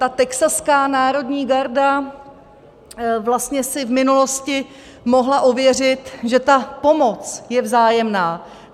Ta texaská národní garda vlastně si v minulosti mohla ověřit, že ta pomoc je vzájemná.